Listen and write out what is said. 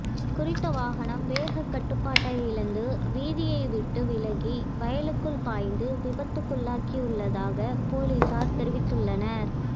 குறித்த வாகனம் வேகக்கட்டுப்பாட்டை இழந்து வீதியைவிட்டு விலகி வயலுக்குள் பாய்ந்து விபத்துக்குள்ளாகியுள்ளதாக பொலிஸார் தெரிவித்துள்ளனர்